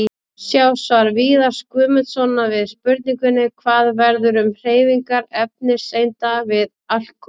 Sjá svar Viðars Guðmundssonar við spurningunni: Hvað verður um hreyfingar efniseinda við alkul?